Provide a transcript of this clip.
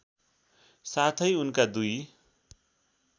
साथै उनका दुई